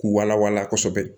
K'u wala wala kosɛbɛ